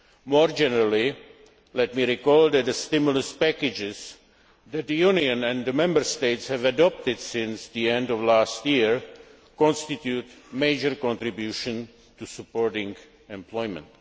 More generally, let me recall that the stimulus packages that the Union and the Member States have adopted since the end of last year constitute major contributions to supporting employment.